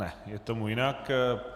Ne, je tomu jinak.